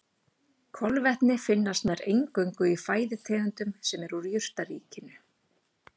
Kolvetni finnast nær eingöngu í fæðutegundum sem eru úr jurtaríkinu.